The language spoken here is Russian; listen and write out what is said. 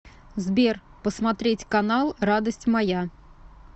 сбер посмотреть канал радость моя